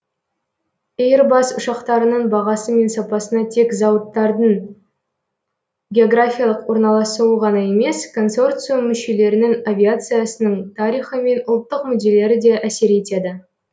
эйрбас ұшақтарының бағасы мен сапасына тек зауыттардың географиялық орналасуы ғана емес консорциум мүшелерінің авиациясының тарихы мен ұлттық мүдделері де әсер етеді